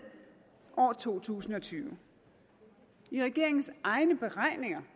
år to tusind og tyve i regeringens egne beregninger